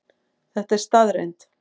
Þetta er staðreynd